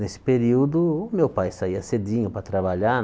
Nesse período, o meu pai saía cedinho para trabalhar.